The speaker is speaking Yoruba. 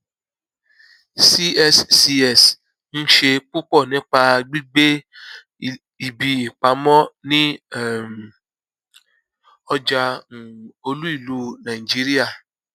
cscs ń ṣe púpọ nípa gbígbé ibi ìpamọ ní um ọjà um olúìlú nàìjíríà